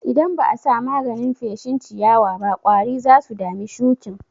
Idan ba'a sa maganin feshin ciyawaba ƙwari zasu dami shuƙin.